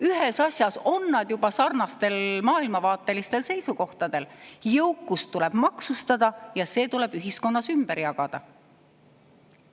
Ühes asjas on nad juba sarnastel maailmavaatelistel seisukohtadel: jõukust tuleb maksustada ja see tuleb ühiskonnas ümber jagada.